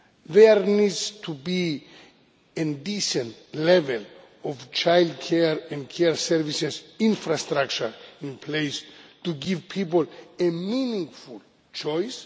There needs to be a decent level of childcare and care services infrastructure in place to give people a meaningful choice.